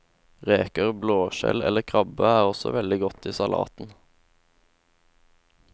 Reker, blåskjell eller krabbe er også veldig godt i salaten.